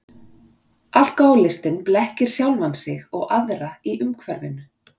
Alkohólistinn blekkir sjálfan sig og aðra í umhverfinu.